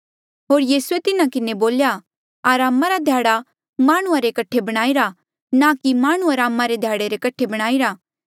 होर यीसूए तिन्हा के बोल्या अरामा रा ध्याड़ा माह्णुं रे कठे बणाईरा ना कि माह्णुं अरामा रे ध्याड़े रे कठे बणाईरा